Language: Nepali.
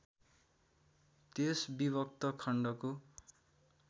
त्यस विभक्त खण्डको